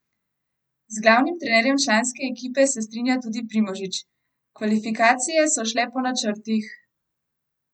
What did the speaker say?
Z glavnim trenerjem članske ekipe se strinja tudi Primožič: "Kvalifikacije so šle po načrtih.